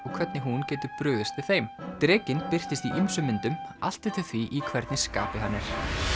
og hvernig hún getur brugðist við þeim drekinn birtist í ýmsum myndum allt eftir því í hvernig skapi hann er